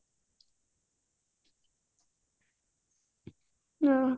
ଓହୋ